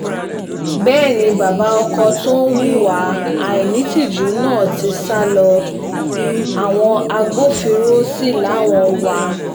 bẹ́ẹ̀ ni bàbá ọkọ tó hùwà àìnítìjú náà ti sá lọ àwọn agbófinró sí làwọn ń wá a